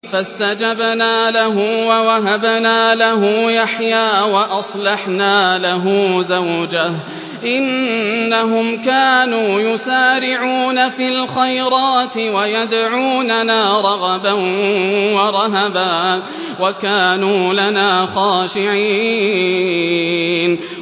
فَاسْتَجَبْنَا لَهُ وَوَهَبْنَا لَهُ يَحْيَىٰ وَأَصْلَحْنَا لَهُ زَوْجَهُ ۚ إِنَّهُمْ كَانُوا يُسَارِعُونَ فِي الْخَيْرَاتِ وَيَدْعُونَنَا رَغَبًا وَرَهَبًا ۖ وَكَانُوا لَنَا خَاشِعِينَ